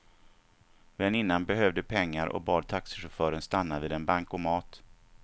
Väninnan behövde pengar och bad taxichauffören stanna vid en bankomat.